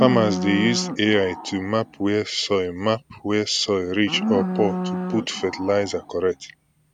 farmers dey use ai to map where soil map where soil rich or poor to put fertilizer correct